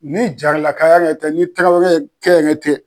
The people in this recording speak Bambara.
Ni jaralakaya yɛrɛ tɛ ni tarawele kɛ ɲɛ tɛ